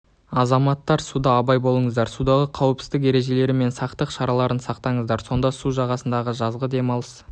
азаматтар суда абай болыңыздар судағы қауіпсіздік ережелері мен сақтық шараларын сақтаңыздар сонда су жағасындағы жазғы демалыс